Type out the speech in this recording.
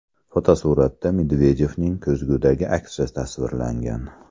Fotosuratda Medvedevning ko‘zgudagi aksi tasvirlangan.